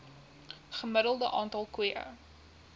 gemiddelde aantal koeie